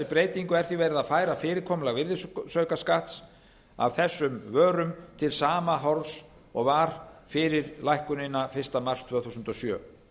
breytingu er því verið að færa fyrirkomulag virðisaukaskatts af þessum vörum til sama horfs og var fyrir lækkunina fyrsta mars tvö þúsund og sjö